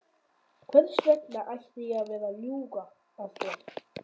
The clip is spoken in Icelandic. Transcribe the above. Hvers vegna ætti ég að vera að ljúga að þér?